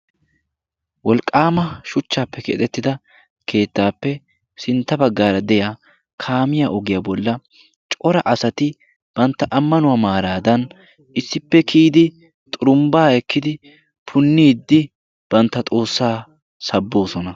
wolqqaama shuchchaappe keaxettida keettaappe sintta baggaara de'iya kaamiya ogiyaa bolla cora asati bantta ammanuwaa maaraadan issippe kiyidi xurumbbaa ekkidi punniiddi bantta xoossaa sabboosona